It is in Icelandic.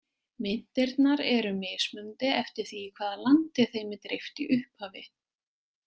Myntirnar eru mismunandi eftir því í hvaða landi þeim er dreift í upphafi.